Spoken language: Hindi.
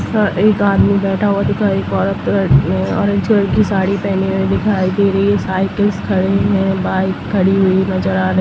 स एक आदमी बैठा हुआ दिखाई पड़ पड़ रहा ऑरेंज कलर की साड़ी पहनी हुई दिखाई दे रही है साइकल्स खड़े है बाइक खड़ी हुई नज़र आ र--